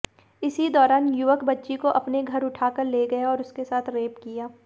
इसी दौरान युवक बच्ची को अपने घर उठाकर ले गया और उसके साथ रेप किया